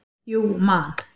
Jú Man.